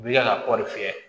U bi ka kɔɔri fiyɛ